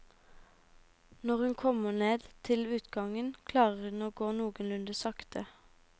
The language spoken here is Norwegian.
Når hun kommer ned til utgangen klarer hun å gå noenlunde sakte.